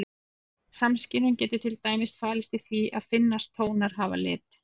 Samskynjun getur til dæmis falist í því að finnast tónar hafa lit.